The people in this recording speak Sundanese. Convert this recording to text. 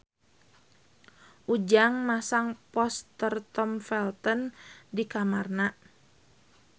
Ujang masang poster Tom Felton di kamarna